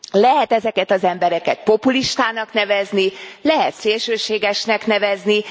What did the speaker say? Lehet ezeket az embereket populistának nevezni, lehet szélsőségesnek nevezni.